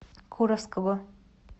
куровского